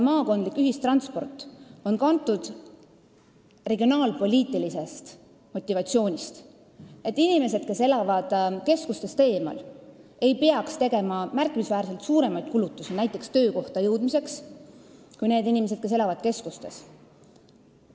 Maakondlik ühistransport on kantud regionaalpoliitilisest motivatsioonist, et inimesed, kes elavad keskustest eemal, ei peaks tegema märkimisväärselt suuremaid kulutusi näiteks töökohta jõudmiseks kui need inimesed, kes elavad keskustes.